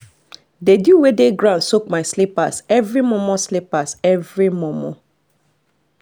the dew wey dey ground soak my slippers every momo slippers every momo